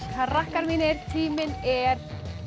krakkar mínir tíminn er